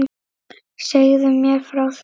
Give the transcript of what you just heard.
Segðu mér frá því.